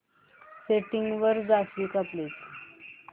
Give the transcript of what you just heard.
settings वर जाशील का प्लीज